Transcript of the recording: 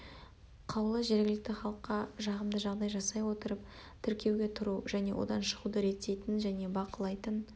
қаулы жергілікті халыққа жағымды жағдай жасай отырып тіркеуге тұру және одан шығуды реттейтін және бақылайтын